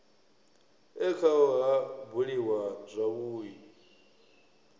e khao ha buliwa zwavhui